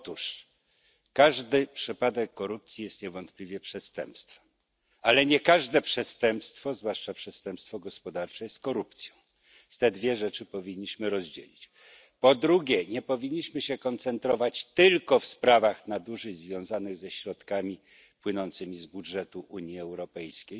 Otóż każdy przypadek korupcji jest niewątpliwie przestępstwem, ale nie każde przestępstwo, zwłaszcza przestępstwo gospodarcze, jest korupcją. Te dwie rzeczy powinniśmy rozdzielić. Po drugie, nie powinniśmy się koncentrować tylko na sprawach nadużyć związanych ze środkami płynącymi z budżetu Unii Europejskiej,